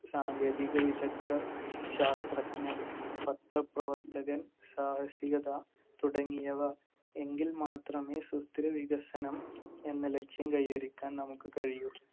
സാങ്കേതിക വിദഗ്ദ്ധർ, ശാസ്ത്രജ്ഞൻ, പത്രപ്രവർത്തകൻ, സാഹസികത തുടങ്ങിയവ. എങ്കിൽ മാത്രമേ സുസ്ഥിര വികസനം എന്ന ലക്ഷ്യം കൈവരിക്കാൻ നമുക്ക് കഴിയൂ.